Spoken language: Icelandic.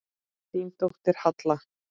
Þín dóttir, Halla.